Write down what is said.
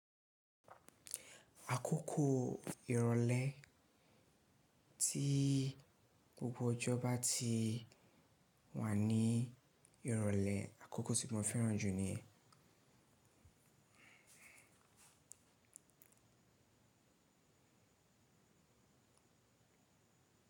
Àkókò ìrọ̀lẹ́ tí gbogbo ọjọ́ bá ti wà ní ìrọ̀lẹ́ àkókò tí mo fẹ́ràn jù ni yẹn.